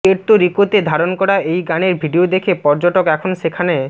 Puerto রিকোতে ধারণ করা এই গানের ভিডিও দেখে পর্যটক এখন সেখানে